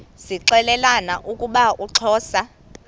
zixelelana ukuba uxhosa